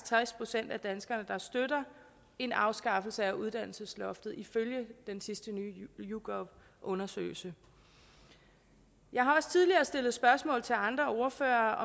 tres procent af danskerne der støtter en afskaffelse af uddannelsesloftet ifølge den sidste yougov undersøgelse jeg har også tidligere stillet spørgsmål til andre ordførere